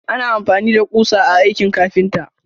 Ana amfani da ƙusa a aikin ƙafinta.